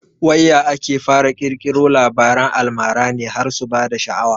Wai ya ake fara ƙirkiro Labaran almara ne har su bada sha'awa